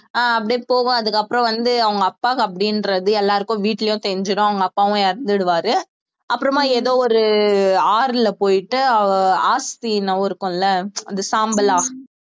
அஹ் அப்படியே போவும் அதுக்கப்புறம் வந்து அவங்க அப்பா அப்படின்றது எல்லாருக்கும் வீட்டிலேயும் தெரிஞ்சிடும் அவங்க அப்பாவும் இறந்திடுவாரு அப்புறமா ஏதோ ஒரு ஆறுல போயிட்டு அஸ்தி இருக்கும்ல அது சாம்பலா